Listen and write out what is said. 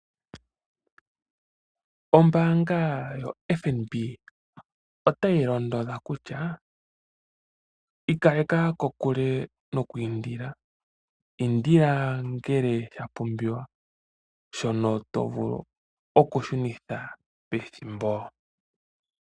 Ombaanga yo FNB otayilondodha kutya ikaleka kokule no ku hehela, hehela uuna shapumbiwa shono to vulu okushunitha pethimbo.